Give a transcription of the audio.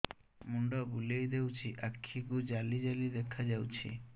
ମୁଣ୍ଡ ବୁଲେଇ ଦେଉଛି ଆଖି କୁ ଜାଲି ଜାଲି ଦେଖା ଯାଉଛି